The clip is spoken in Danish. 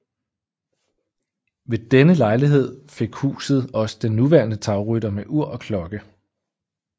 Ved denne lejlighed fik huset også den nuværende tagrytter med ur og klokke